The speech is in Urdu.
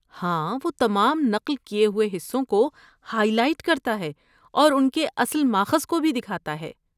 ہاں، وہ تمام نقل کیے ہوئے حصوں کو ہائی لائٹ کرتا ہے اور ان کے اصل ماخذ بھی دکھاتا ہے۔